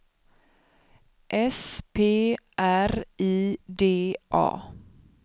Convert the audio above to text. S P R I D A